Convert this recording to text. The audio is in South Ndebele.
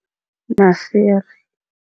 Masiri.